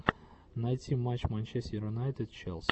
найти матч манчестер юнайтед челси